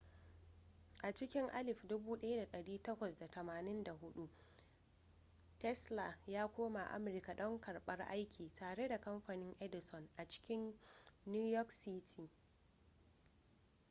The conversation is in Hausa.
a cikin 1884 tesla ya koma amurka don karɓar aiki tare da kamfanin edison a cikin new york city